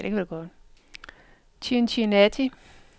Cincinnati